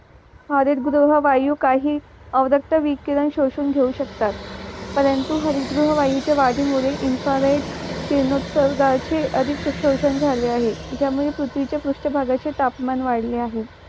हरित गृह वायू काही ऑरक्त वि किरण शोषून घेऊ शकतात परंतु हरित गृह वायूचे वाढीमुळे इन्फारेट किरणो उत्सर्गाचे अधिकतर शोषण झाले आहे ज्यामुळे पृथ्वीच्या पृष्ठभागाचे तापमान वाढले आहे